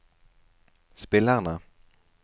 spillerne